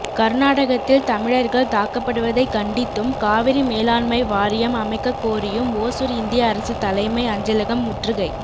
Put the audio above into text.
கர்நாடகத்தில் தமிழர்கள் தாக்கப்படுவதைக் கண்டித்தும் காவிரி மேலாண்மை வாரியம் அமைக்கக் கோரியும் ஓசூர் இந்திய அரசு தலைமை அஞ்சலகம் முற்றுகை